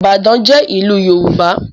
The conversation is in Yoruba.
ibadan jé ilú yorùbá